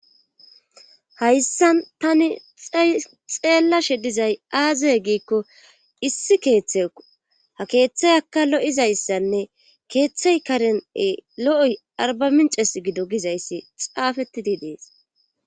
hayssan tani xeellashe dizay aazaye giikko issi keeththe ha keeththay akka lo7izayssanne keeththay karene lo7oy arba minces gido gizayssi xaafettidi dees